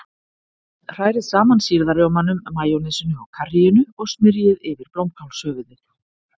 Hrærið saman sýrða rjómanum, majónesinu og karríinu og smyrjið yfir blómkálshöfuðið.